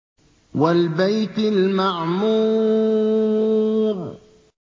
وَالْبَيْتِ الْمَعْمُورِ